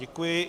Děkuji.